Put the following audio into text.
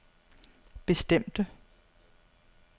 bestemte